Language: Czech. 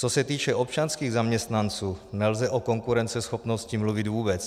Co se týče občanských zaměstnanců, nelze o konkurenceschopnosti mluvit vůbec.